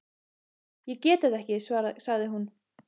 Ég get þetta ekki, sagði hún.